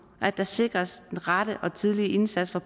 at der sikres den rette og tidlige indsats for